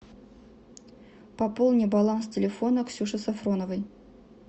пополни баланс телефона ксюши сафроновой